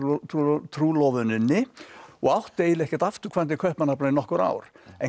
trúlofuninni og átti eiginlega ekkert afturkvæmt til Kaupmannahafnar í nokkur ár